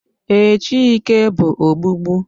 Ee, Chike bụ ogbugbu